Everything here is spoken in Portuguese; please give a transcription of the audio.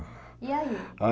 E aí?